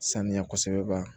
Sanuya kosɛbɛ ban